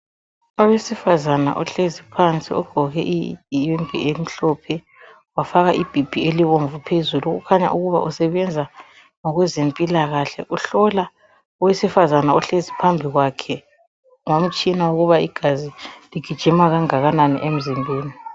Owesifazana ohlezi phansi ogqoke iyembe emhlophe, wafaka ibhibhi elibomvu phezulu okukhanya ukuba usebenza ngokwezempilakahle. Uhlola owesifazana ohlezi phambi kwakhe ngomtshina ukuba igazi ligijima kangakanani emzimbeni.